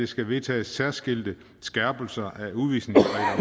skal vedtages særskilte skærpelser